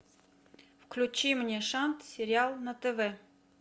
включи мне шант сериал на тв